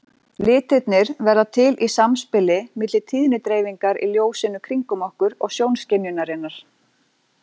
Litirnir verða til í samspili milli tíðnidreifingar í ljósinu kringum okkur og sjónskynjunarinnar.